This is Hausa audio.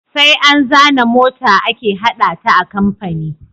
Sai an zana mota ake hada ta a kamfani